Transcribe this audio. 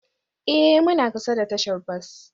Ee, muna kusa da tashar bas